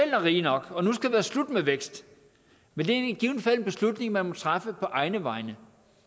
er rig nok og nu skal det være slut med vækst men det er i givet fald en beslutning man traf på egne vegne